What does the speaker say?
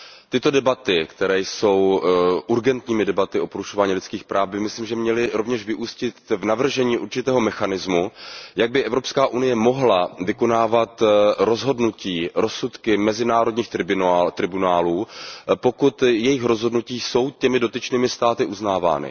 Tyto debaty, které jsou urgentními debatami o porušování lidských práv, by myslím měly rovněž vyústit v navržení určitého mechanismu tak, aby Evropská unie mohla vykonávat rozhodnutí, rozsudky mezinárodních tribunálů, pokud jejich rozhodnutí jsou těmi dotyčnými státy uznávány.